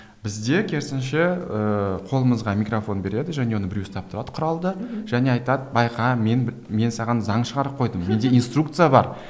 бізде керісінше ыыы қолымызға микрофон береді және оны біреу ұстап тұрады құралды және айтады байқа мен мен саған заң шығарып қойдым менде инструкция бар